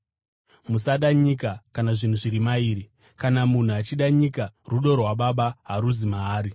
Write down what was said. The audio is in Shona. Musada nyika kana zvinhu zviri mairi. Kana munhu achida nyika, rudo rwaBaba haruzi maari.